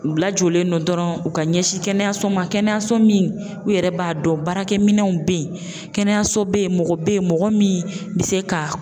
U lajɔlen no dɔrɔn u ka ɲɛsin kɛnɛyaso ma kɛnɛyaso min u yɛrɛ b'a dɔn baarakɛminɛnw bɛ ye kɛnɛyaso bɛ ye mɔgɔ bɛ ye mɔgɔ min bɛ se ka